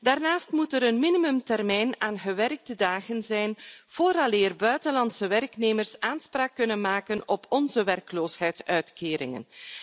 Daarnaast moet er een minimumtermijn aan gewerkte dagen zijn vooraleer buitenlandse werknemers aanspraak kunnen maken op onze werkloosheidsuitkeringen.